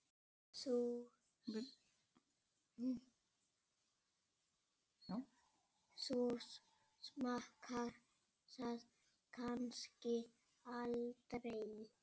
Þú smakkar það kannski aldrei?